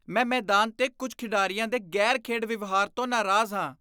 ਮੈਂ ਮੈਦਾਨ 'ਤੇ ਕੁੱਝ ਖਿਡਾਰੀਆਂ ਦੇ ਗ਼ੈਰ ਖੇਡ ਵਿਵਹਾਰ ਤੋਂ ਨਾਰਾਜ਼ ਹਾਂ